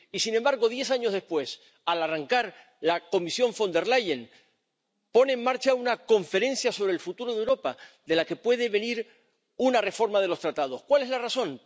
Y, sin embargo, diez años después, al arrancar la Comisión von der Leyen pone en marcha una Conferencia sobre el Futuro de Europa, de la que puede venir una reforma de los Tratados ¿Cuál es la razón?